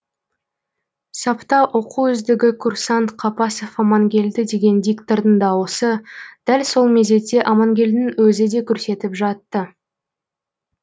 сапта оқу үздігі курсант қапасов амангелді деген диктордың дауысы дәл сол мезетте амангелдінің өзі де көрсетіп жатты